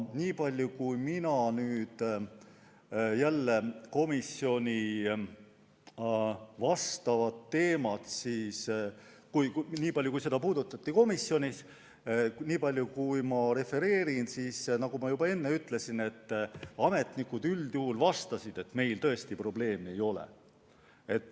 Nii palju, kui seda teemat komisjonis puudutati, ja nii palju, kui ma refereerin, siis nagu ma juba enne ütlesin, ametnikud üldjuhul vastasid, et meil tõesti probleeme ei ole.